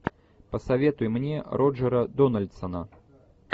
посоветуй мне роджера дональдсона